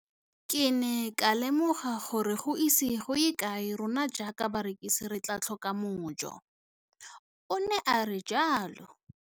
Ke ne ka lemoga gore go ise go ye kae rona jaaka barekise re tla tlhoka mojo, o ne a re jalo.